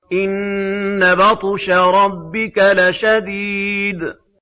إِنَّ بَطْشَ رَبِّكَ لَشَدِيدٌ